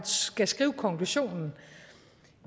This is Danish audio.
skal skrive konklusionen